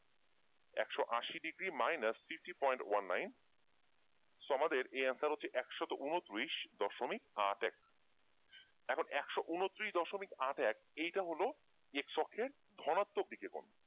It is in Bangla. একশ আশি degree minus fifty point one nine so আমাদের এই answer হচ্ছে একশত ঊনচল্লিশ দশমিক আট এক এখন একশ ঊনচল্লিশ দশমিক আট এক এইটা হলো x অক্ষের ধনাত্মক দিকের কোণ ।